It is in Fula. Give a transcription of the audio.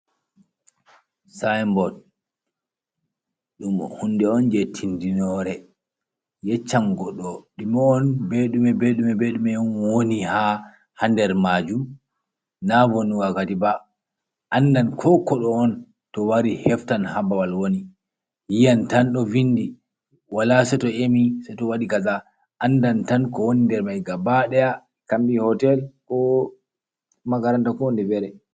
Synbot ɗum hunde on jei tindinore, yeccan goɗɗo dume on be ɗume be ɗume be ɗume on woni ha hander majum na be vonnugo wakkati ba. Andan ko koɗo on to wari heftan ha babaal woni. yi 'yan tan ɗo vindi wala seito emi,. Andan tan ko woni nder mai gabadaya ko hotel ko magaranta konde fere.